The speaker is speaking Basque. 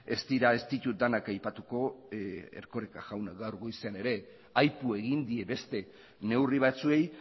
ez dira ez ditut denak aipatuko erkoreka jaunak gaur goizean ere aipu egin die beste neurri batzuei